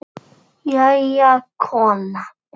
Jæja, kona.